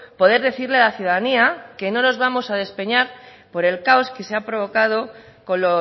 poder decirle a la ciudadanía que no nos vamos a despeñar por el caos que se ha provocado con